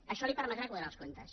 això li permetrà quadrar els comptes